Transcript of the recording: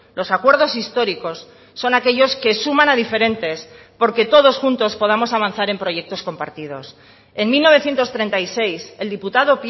los acuerdos históricos son aquellos que suman a diferentes porque todos juntos podamos avanzar en proyectos compartidos en mil novecientos treinta y seis el diputado